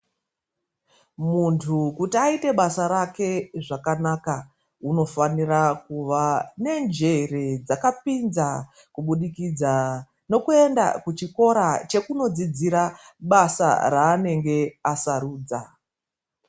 Muntu kuti aite basa rake zvakanaka unofanira kuva nenjere dzakapinza kubudikidza nekuenda kuchikora chekunodzidzira basa raanenge asarudza.